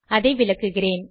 அதை விளக்குகிறேன்